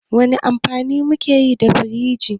Wani amfani muke yi da firiji?